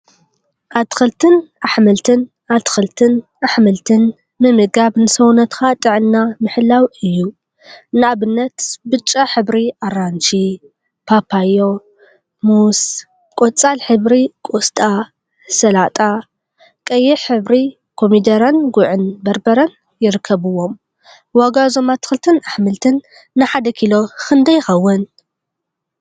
አትክልትን አሕምልትን አትክልትን አሕምልትን ምምጋብ ንሰውነትካ ጥዕና ምሕላው እዩ፡፡ ንአብነት ብጫ ሕብሪ አራንሺ፣ ፓፓዮ፣ ሙዝ ፤ቆፃል ሕብሪ ቆስጣ፣ ሰላጣ ፤ቀይሕ ሕብሪ ኮሚደረን ጉዕ በርበረን ይርከቡዎም፡፡ ዋጋ እዞም አትክልቲን አሕምልትን ንሓደ ኪሎ ክንደይ ይኸውን?